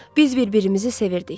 Biz bir-birimizi sevirdik.